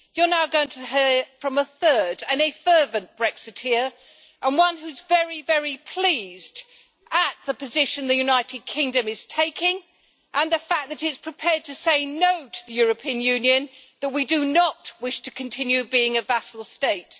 You're now going to hear from a third, a fervent Brexiteer, and one who is very, very pleased at the position the United Kingdom is taking and the fact that it is prepared to say no' to the European Union, that we do not wish to continue being a vassal state.